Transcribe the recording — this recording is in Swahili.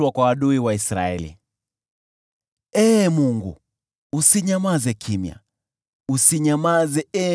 Ee Mungu, usinyamaze kimya, usinyamaze, Ee Mungu, usitulie.